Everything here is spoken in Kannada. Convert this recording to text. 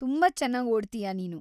ತುಂಬಾ ಚೆನ್ನಾಗ್ ಓಡ್ತೀಯ ನೀನು.